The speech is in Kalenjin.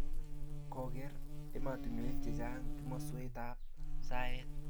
koker emotinwek che chang' komoswekab saet.